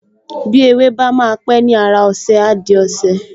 Bí ewé bá máa pẹ́ ni ára ọṣẹ, á di ọṣẹ